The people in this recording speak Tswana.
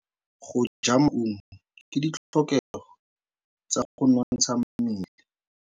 Go ja maungo ke ditlhokegô tsa go nontsha mmele.